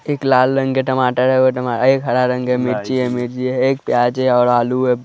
एक लाल रंग के टमाटर है और टमा एक हरा रंग का मिर्ची है मिर्ची है एक प्याज है और आलू है।